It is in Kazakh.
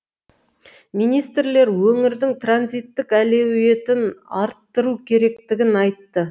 министрлер өңірдің транзиттік әлеуетін арттыру керектігін айтты